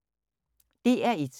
DR1